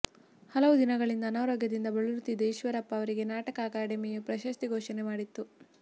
ಹಲವು ದಿನಗಳಿಂದ ಅನಾರೋಗ್ಯದಿಂದ ಬಳಲುತ್ತಿದ್ದ ಈಶ್ವರಪ್ಪ ಅವರಿಗೆ ನಾಟಕ ಅಕಾಡೆಮಿಯು ಪ್ರಶಸ್ತಿ ಘೋಷಣೆ ಮಾಡಿತ್ತು